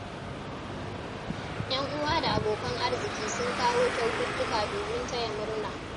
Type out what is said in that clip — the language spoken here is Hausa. Yan uwa da abokan arziki sun kawo kyaututtuka domin taya murna.